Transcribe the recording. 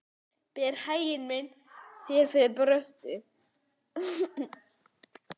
Berð hag minn þér fyrir brjósti.